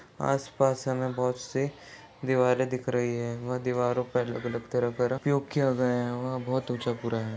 आसपास हमें बहुत से दीवारे दिख रही है वह दीवारों पर अलग-अलग तरह का किया गया है यहाँ वहाँ बहुत ऊंचा पूरा है।